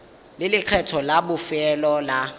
le lekgetho la bofelo la